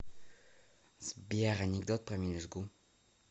сбер анекдот про мелюзгу